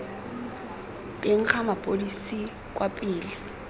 teng ga mapodisi kwa pele